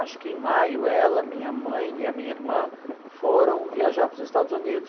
Acho que em maio, ela, minha mãe e a minha irmã foram viajar para os Estados Unidos.